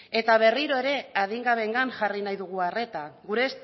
eta berriro ere adingabeengan jarri nahi dugu arreta gure